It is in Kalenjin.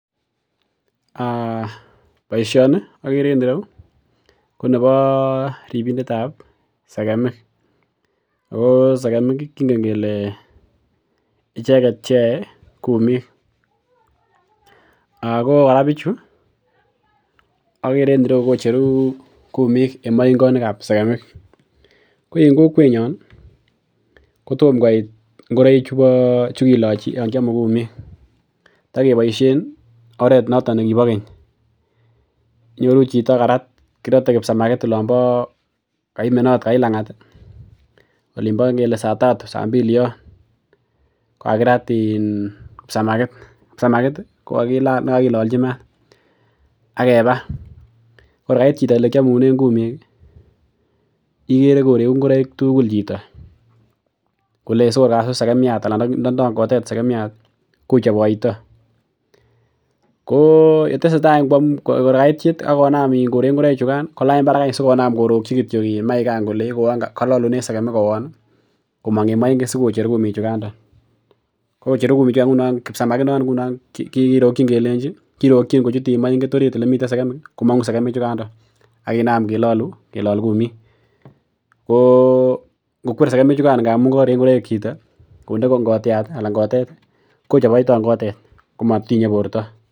[um]Boisyoni ko neboo ribindetab sekemik , oko segemik kingen kele icheket cheyoe kumik ako kora bichu kocheru kumiken maingonikkab segemik ko en kokwenyon kotomkoit ingoraik chukilachi Yoon kiamu kumik tokeboisien oret noto nekibo keny inyoru chito karat kirote kipsamakit Yoon koimanet olombo lang'at ih olimbo kele saa tatu, saa mbili en chioni kipsamakit kipsamakit konekakilalchi maat akeba kor kait chito ole kiamunen kumik igere koregu ingoraik tugul chito kole Indo ndo kotet segemiat kochoboito koo yetessetai kor kait yet akonam korek ingoraik chugan kolany barak sikonam korokchi maigan kololunen segemik koon komong en moinget sikocher kumik chugan kocheru kumik chugan kipsamakit noon kirokchin kochut mainget oret ole miten segemik komong'u segemik chugan aginam kelol kumikko ngokuer segemik chugan ndamuun korek ingoraik chito ngonde ko ngotiat anan kotet kochoboito ngotet komotinye borto